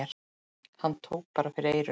Hann tók bara fyrir eyrun!